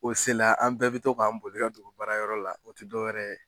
O sela an bɛɛ bɛ to k'an boli ka dogo baara yɔrɔ la o tɛ dɔwɛrɛ ye.